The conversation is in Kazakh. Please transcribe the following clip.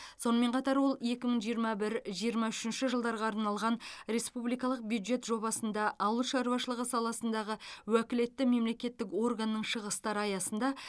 сонымен қатар ол екі мың жиырма бір жиырма үшінші жылдарға арналған республикалық бюджет жобасында ауыл шаруашылығы саласындағы уәкілетті мемлекеттік органның шығыстары аясында